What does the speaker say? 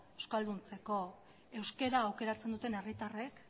euskalduntzeko euskara aukeratzen duten herritarrek